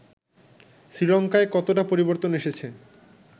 শ্রীলঙ্কায় কতটা পরিবর্তন এসেছে